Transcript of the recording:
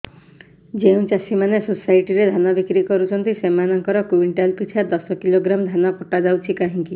ଯେଉଁ ଚାଷୀ ମାନେ ସୋସାଇଟି ରେ ଧାନ ବିକ୍ରି କରୁଛନ୍ତି ସେମାନଙ୍କର କୁଇଣ୍ଟାଲ ପିଛା ଦଶ କିଲୋଗ୍ରାମ ଧାନ କଟା ଯାଉଛି କାହିଁକି